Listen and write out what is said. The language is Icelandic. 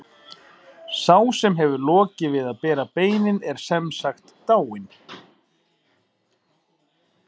Sá sem hefur lokið við að bera beinin er sem sagt dáinn.